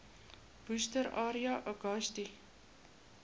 worcester area uagasti